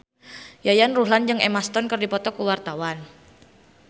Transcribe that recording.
Yayan Ruhlan jeung Emma Stone keur dipoto ku wartawan